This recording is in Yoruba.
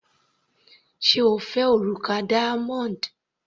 Sé O fẹ́ òrùka diamond?.